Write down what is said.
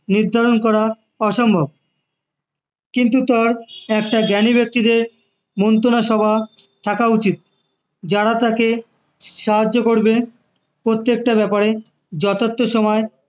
নির্ধারণ করা অসম্ভব কিন্তু তার একটা জ্ঞানী ব্যক্তিদের মন্ত্রণা সভা থাকা উচিত যারা তাকে সাহায্য করবে প্রত্যেকটা ব্যাপারে যথার্থ সময়